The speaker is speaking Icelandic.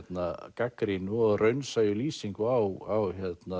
gagnrýnu og raunsæju lýsingu á